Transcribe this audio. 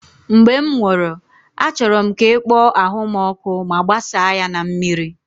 Mgbe m nwụrụ, achọrọ m ka ị kpọọ ahụ m ọkụ ma gbasaa ya na mmiri